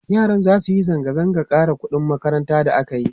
yaran zasu Yi zanga zangan ƙara ƙuɗin makaranta da akayi